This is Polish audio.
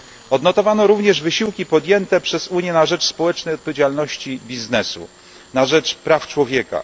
Odnotowano również wysiłki podjęte przez Unię na rzecz społecznej odpowiedzialności biznesu, na rzecz praw człowieka.